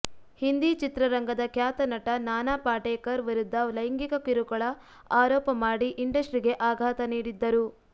ಹಿಂದಿ ಚಿತ್ರರಂಗದ ಖ್ಯಾತ ನಟ ನಾನಾ ಪಾಟೇಕರ್ ವಿರುದ್ಧ ಲೈಂಗಿಕ ಕಿರುಕುಳ ಆರೋಪ ಮಾಡಿ ಇಂಡಸ್ಟ್ರಿಗೆ ಆಘಾತ ನೀಡಿದ್ದರು